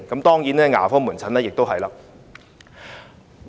當然，牙科門診也是一樣的。